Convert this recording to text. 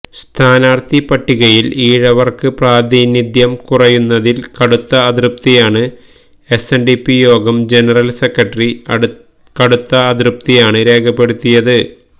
സ്ഥാനാർത്ഥി പട്ടികയിൽ ഈഴവർക്ക് പ്രാതിനിധ്യം കുറയുന്നതിൽ കടുത്ത അതൃപ്തിയാണ് എസ്എൻഡിപി യോഗം ജനറൽ സെക്രട്ടറി കടുത്ത അതൃപ്തിയാണ് രേഖപ്പെടുത്തിയത്